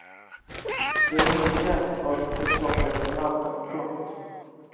Det är inte känt vad som orsakade branden. punkt